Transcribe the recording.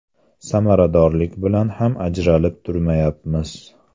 Samaradorlik bilan ham ajralib turmayapmiz.